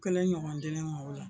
kelen ɲɔgɔn di ne ma o la.